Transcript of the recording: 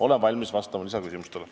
Olen valmis vastama lisaküsimustele.